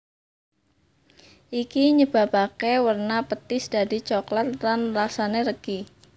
Iki nyebapaké werna petis dadi coklat lan rasané legi